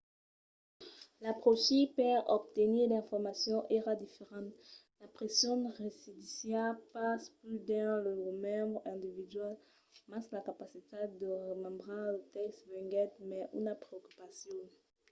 l'apròchi per obtenir d'informacions èra diferent. la pression residissiá pas pus dins lo remembre individual mas la capacitat de remembrar lo tèxt venguèt mai una preocupacion